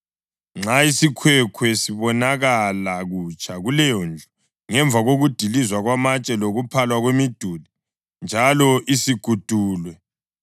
Nxa isikhwekhwe sibonakala kutsha kuleyondlu ngemva kokudilizwa kwamatshe lokuphalwa kwemiduli njalo isigudulwe,